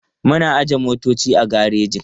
Muna ajiye motoci a gareji.